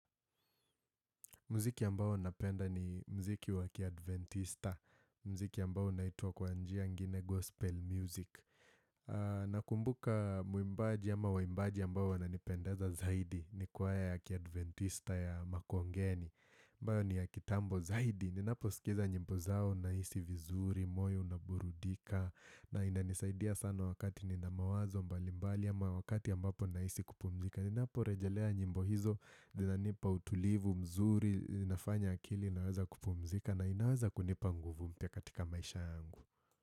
Mziki ambao napenda ni mziki wa kiadventista, mziki ambao unaitwa kwa njia ingine gospel music. Nakumbuka mwimbaji ama waimbaji ambao wananipendeza zaidi ni kwaya kiaadventista ya makongeni. Ambayo ni ya kitambo zaidi, ninaposikiza nyimbo zao nahisi vizuri, moyo unaburudika, na inanisaidia sana wakati nina mawazo mbalimbali ama wakati ambapo nahisi kupumzika. Ninapo rejelea nyimbo hizo zinanipa utulivu mzuri, zinafanya akili, inaweza kupumzika na inaweza kunipa nguvu mpya katika maisha yangu.